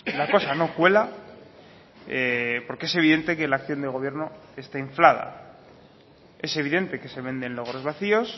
la cosa no cuela porque es evidente que la acción del gobierno está inflada es evidente que se venden logros vacíos